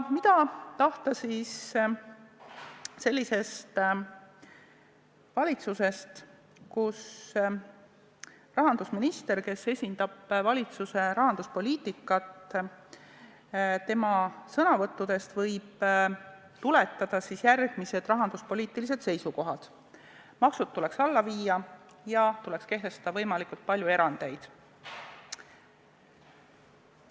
Mida aga tahta sellisest valitsusest, kus rahandusministri, kes esindab valitsuse rahanduspoliitikat, sõnavõttudest võib tuletada järgmisi rahanduspoliitilisi seisukohti, et maksud tuleks alla viia ja tuleks kehtestada võimalikult palju erandeid?